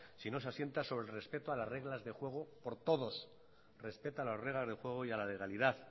si no se asienta sobre el respeto a las reglas del juego por todos respeta las reglas del juego y la legalidad